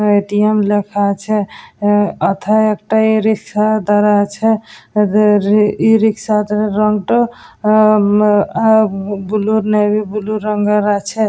ATM. লেখা আছে আহ ওথায় একটা ই রিক্সা দাঁড়া আছে রে রে ই রিকশার রং টা আহ ম আহ বুলু নেভি ব্লু রঙের আছে।